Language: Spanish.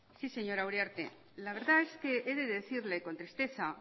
sí señora uriarte la verdad es que he de decirle con tristeza